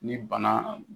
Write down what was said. Ni bana